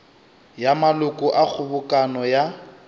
ya maloko a kgobokano ya